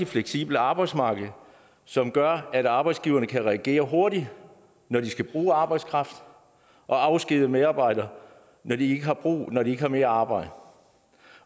fleksibelt arbejdsmarked som gør at arbejdsgiverne kan reagere hurtigt når de skal bruge arbejdskraft og afskedige medarbejdere når de når de ikke har mere arbejde